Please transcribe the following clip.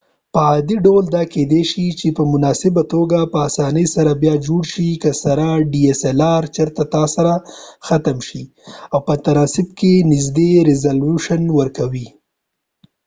په عادي ډول دا کېدای چې په مناسبه توګه په اسانۍ سره بیا جوړ شي که چېرته تا سره ختم شي او dslr سره په تناسب کې نږدې ریزلوشن ورکوي